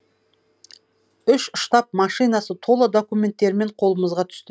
үш штаб машинасы тола документтерімен қолымызға түсті